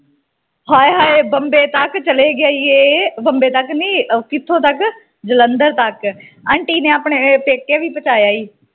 ਹਾਏ ਹਾਏ ਬੰਬੇ ਤਕ ਚਲੇ ਗਿਆ ਈ ਇਹ ਬੰਬੇ ਤਕ ਨਹੀਂ ਕਿਥੋਂ ਤਕ ਜਲੰਧਰ ਤਕ ਆਂਟੀ ਨੇ ਆਪਣੇ ਪੇਕੇ ਵੀ ਪਚਾਇਆ ਈ